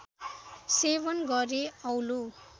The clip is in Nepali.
सेवन गरे औलो